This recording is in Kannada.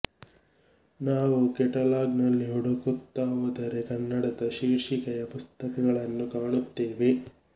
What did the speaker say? ನಾವು ಕೆಟಲಾಗ್ ನಲ್ಲಿ ಹುಡುಕುತ್ತಾ ಹೋದರೆ ಕನ್ನಡದ ಶೀರ್ಷಿಕೆಯ ಪುಸ್ತಕಗಳನ್ನೂ ಕಾಣುತ್ತೇವೆ